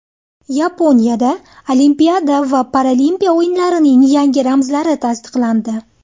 Yaponiyada Olimpiada va Paralimpiya o‘yinlarining yangi ramzlari tasdiqlandi.